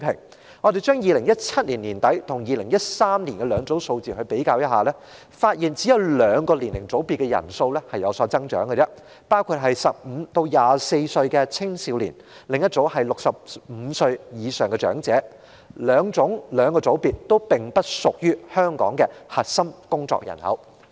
當我們拿2017年年底的人數跟2013年的兩組數字比較，便發現只有兩個年齡組別的人數有所增長，一組是15歲至24歲的青少年，另一組是65歲以上的長者，兩個組別均不屬於香港的核心工作人口。